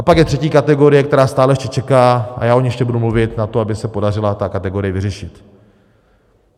A pak je třetí kategorie, která stále ještě čeká, a já o ní ještě budu mluvit, na to, aby se podařila ta kategorie vyřešit.